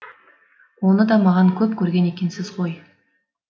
оны да маған көп көрген екенсіз ғой